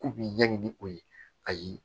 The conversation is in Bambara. K'u b'i ɲɛɲini o ye ayi